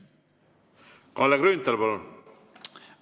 Kalle Grünthal, palun!